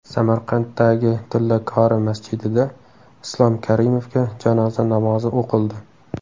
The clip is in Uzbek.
Samarqanddagi Tillakori masjidida Islom Karimovga janoza namozi o‘qildi.